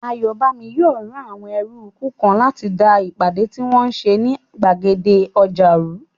Ayọ̀bámi yóò rán àwọn ẹrúukú kan láti da ìpàdé tí wọ́n n ṣe ní gbàgede ọjà rú